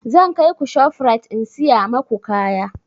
Zan kaiku shof rite in siya maku kaya